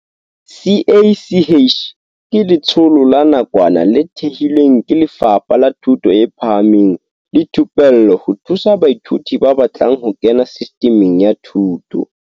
CACH ke letsholo la nakwana le thehilweng ke Lefapha la Thuto e Phahameng le Thupello ho thusa baithuti ba batlang ho kena Sistiming ya Thuto.